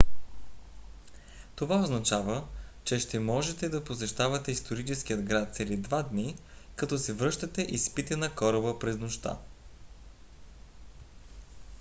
това означава че ще можете да посещавате историческия град цели два дни като се връщате и спите на кораба през нощта